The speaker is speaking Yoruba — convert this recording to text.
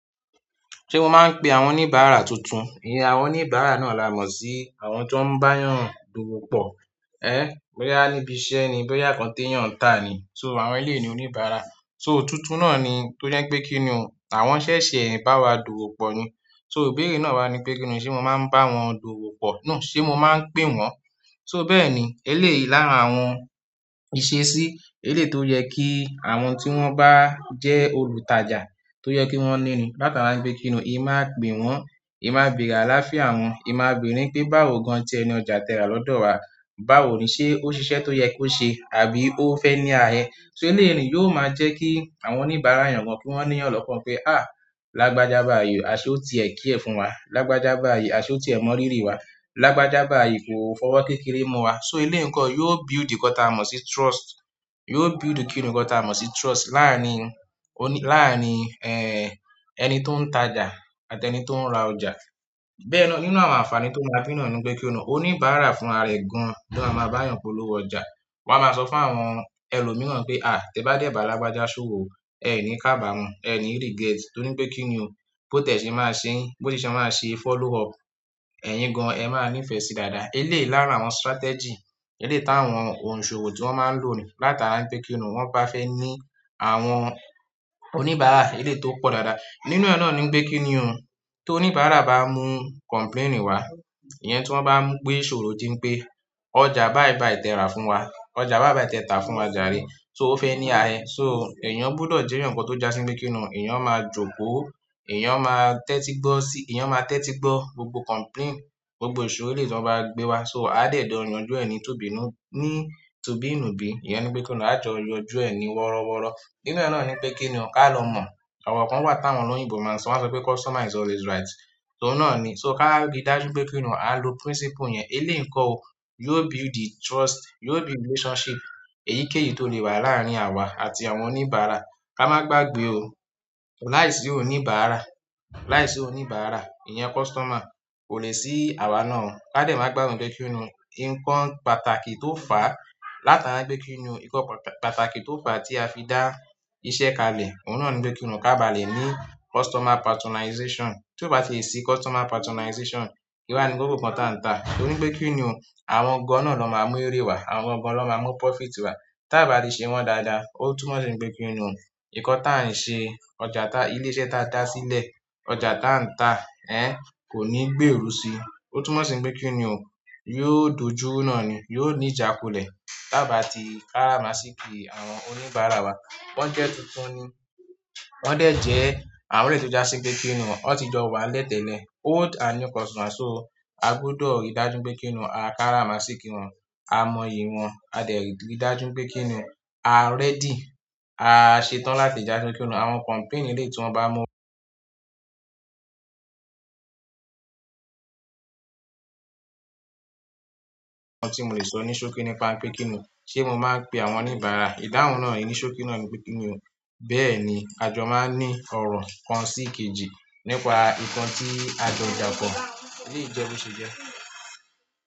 Ṣe o maa n pe àwọn onibara tutun, iyẹn àwọn oníbàárà nọọni a mọ sí àwọn ti wọn bayan dowo pọ. Ẹ́, bóyá níbi iṣẹ́ ni, bóyá nkan tetan ta ni, so àwọn eleyi ni oníbàárà. So tuntun náà ni, tó jẹ́ pé kí ni ò, àwọn ṣẹ̀ṣẹ̀ bá wa dùù pọ̀ ni. So ìbéèrè náà wá ní pé kí ni, ṣe mo máa ń bá wọn dowo pọ̀. No, ṣe mo máa ń pè wọ́n? So bẹ́ẹ̀ ni, eléyìí lára àwọn ìṣesí, eléyìí tó yẹ kí àwọn tí wọ́n bá jẹ́ olùtajà tó yẹ kí wọ́n níni. Látara pé kí ni o, ì máa pè wọ́n, ì máa bèèrè aláfíà wọn, ì máa bèèrè pé báwo gan-an tí ẹni ọjà tẹ ra lọ́dọ̀ wa, báwo ni ṣe ó ṣiṣẹ́ tó yẹ kó ṣe, àbí ó fẹ́ ní arẹ. So eléyìí ni yóò máa jẹ́ kí àwọn oníbàárà yàn gan-an kí wọ́n ní eyan lọ́kàn pé, à, lágbájá báyìí, aṣọ tí ẹ care fún wa, lágbájá bá baayi, aṣọ tí ẹ mọ́ rírí wa, lágbájá bá baayi, ko fi ọwọ́ kékeré mú wa. So eléyìí nko yóò build nkan taa mọ̀ sí trust, yóò build kí ni nkan ta mọ̀ sí trust láàárín, òní, láàárín, ẹ́, ẹni tó ń tajà àti ẹni tó ń ra ọjà. Bẹ́ẹ̀ náà nínú àwọn àǹfààní tó máa bi naani pe kí ni òun, oníbàárà fún ara ẹ̀ gan-an bó a máa bá yàn polówó ọjà. Wa máa sọ fún àwọn ẹlòmíràn pé, à, tí ẹ bá dé ìbà lágbájá ṣowo o, ẹ ní ká bà wọ́n, ẹ ní regret, torí pé kí ni o, bó tẹ̀ ṣe máa ṣe yín, bó tì ṣe máa ṣe follow up, ẹ̀yin gan-an ẹ máa ní ìfẹ́ sí dáadáa. Eléyìí lára àwọn strategy, eléyìí táwọn òǹsòwò tí wọ́n máa ń lò ni látara wipé kí ni o, wọ́n ba fẹ́ ní àwọn oníbàárà eléyìí tó pọ̀ dáadáa. Nínú ẹ náà ni n pé kí ni o, ti oníbàárà bá mú complain wá, ìyẹn tí wọ́n bá mú pé ìṣòro tí ń pé ọjà báì báì tẹ rà fún wa, ọjà báì báì tẹ ta fún wa jàre, so ó fẹ́ ní arẹ. So èèyàn gbọdọ̀ jẹ́ eyan kan tó já sí bí pé kí ni o, èèyàn máa jókòó, èèyàn máa tẹ́tí gbọ́ sí, èèyàn máa tẹ́tí gbọ́ gbogbo complain, gbogbo ìṣòro eléyìí tí wọ́n bá gbé wá. So a dẹ jọ yánjú ẹ ni tó bíi inú, ní tu bíi nú bí, ìyẹn bí pé kí ni o, a jọ yanjú ẹni wọ́rọ́wọ́rọ́. Nínú ẹ náà ni pé kí ni o ká lọ mọ̀, ọ̀rọ̀ kan wà táwọn olóyìnbo máa ń sọ, wọ́n sọ pé customer is always right. Oun náà ni, so ká rí dájú pé kí ni o, a lo principle yẹn. Eléyìí nkọ ò, yóò build trust, yóò build relationship, èyíkéyìí tó lè wà láàárín àwa àti àwọn oníbàárà. Ka máa gbàgbé o, láìsí oníbàárà, láìsí oníbàárà, ìyẹn customer, kò lè sí àwa náà o. Ka dẹ̀ máa gbagbe bí pé kí ni o, nǹkan pàtàkì tó fà látara wipé kí ni o, nǹkan pàtàkì tó fà tí a fi dá iṣẹ́ kalẹ̀, òun náà ni bí pé kí ni o ká bá le ní customer patronization. Tí ó bá ti lè sí customer patronization, kí wá ni koko nǹkan tàǹtá. Torí pé kí ni o, àwọn gan-an náà ló máa mú eré wá, àwọn gan-an náà máa mú profit wá. Tí a bá ti ṣe wọ́n dáadáa, ó tún mọ̀ sí pé kí ni o, nǹkan táa ń ṣe, ọjà ta, ilé iṣẹ́ ta dá sílẹ̀, ọjà tàǹtá, ẹ́, kò ní gbéru sí i. Ó tún mọ̀ sí bí pé kí ni òun, yóò dojuru náà ni, yóò ní ìjàkulẹ̀. Tí a bá ti káramaasiki àwọn oníbàárà wa, wọ́n jẹ́ tuntun ni, wọ́n dẹ̀ jẹ́ àwọn eleyi to jásí pé kíni o, ó ti jọ wá lẹ́tẹlẹ̀. Old and new customer, so a gbọdọ̀ rí dájú pé kíni o, a ká ra máa ṣí kí wọn, a mọ iyì wọn, a dẹ̀ rí dájú pé kí ni òun, a ready, a ṣetán láti já sí bí pé kí ni òun, àwọn complain eléyìí tí wọ́n bá mú nǹkan tí mo lè sọ ní ṣokí nípa pé kíni o, ṣe mo máa ń pe àwọn oníbàárà? Ìdáhùn náà, ni ṣokí náà ni pé kí ni òun, bẹ́ẹ̀ ni, àjọ máa ń ní ọ̀rọ̀ kan sí kejì nípa nǹkan tí a jọ da pọ. Eléyìí jẹ boṣe jẹ́.